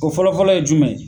O fɔlɔfɔlɔ ye jumɛn ye